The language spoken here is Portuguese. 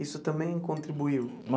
Isso também contribuiu?